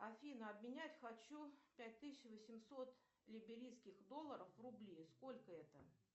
афина обменять хочу пять тысяч восемьсот либерийских долларов в рубли сколько это